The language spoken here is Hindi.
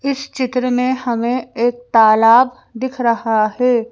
इस चित्र में हमें एक तालाब दिख रहा है।